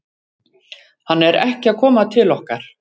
Hann er ekki að koma til okkar.